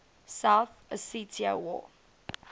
south ossetia war